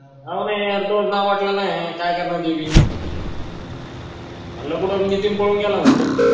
हाव नाई यार तुझंच नाव वाटल ना यार काय करणार म्हणलं कुठं नितीन पळून गेला म्हणलं